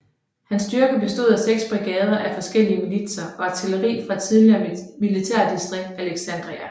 Hans styrker bestod af 6 brigader af forskellige militser og artilleri fra det tidligere militærdistrikt Alexandria